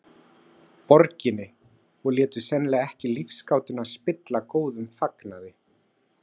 Borginni og létu sennilega ekki lífsgátuna spilla góðum fagnaði.